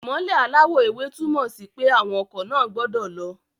Ìmọ́lẹ̀ aláwọ̀ ewé túmọ̀ sí pé àwọn ọkọ̀ náà gbọ́dọ̀ lọ